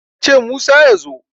ka ce Musa ya zo!